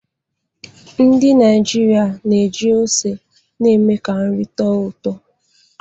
Ndị Naịjịrịa na-eji ose eme ka nri tọọ ụtọ.